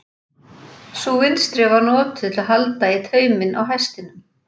Sú vinstri var notuð til að halda í tauminn á hestinum.